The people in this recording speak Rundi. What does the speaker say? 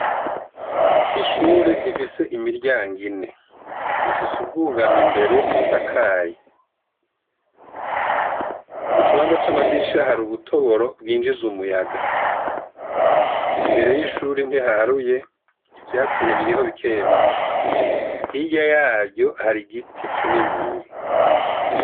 Ishure rifise imiryango ine; rifise ubwugamo imbere busakaye; mu kibanza c'amadirisha hari ubutoboro bwinjiza umuyaga; imbere y'ishure ntihaharuye, ivyatsi biriho bike bike. Hirya yaryo hari igiti kininiya